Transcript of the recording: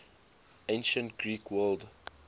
ancient greek world